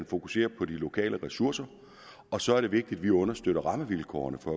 fokusere på de lokale ressourcer og så er det vigtigt at vi understøtter rammevilkårene for